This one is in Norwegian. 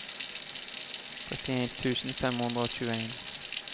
trettien tusen fem hundre og tjueen